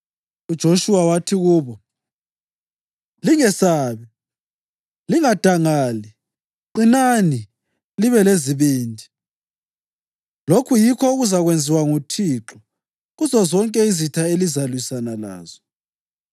UJoshuwa wathi kubo, “Lingesabi; lingadangali qinani libe lezibindi. Lokhu yikho okuzakwenziwa nguThixo kuzozonke izitha elizalwisana lazo.”